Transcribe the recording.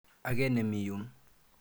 Ake ne mi yun.